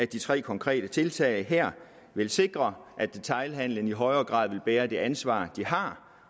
de tre konkrete tiltag her vil sikre at detailhandelen i højere grad vil bære det ansvar de har